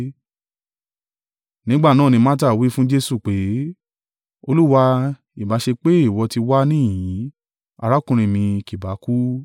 Nígbà náà, ni Marta wí fún Jesu pé, “Olúwa, ìbá ṣe pé ìwọ ti wà níhìn-ín, arákùnrin mi kì bá kú.